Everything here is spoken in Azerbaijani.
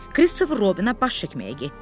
Kristofer Robbinə baş çəkməyə getdim.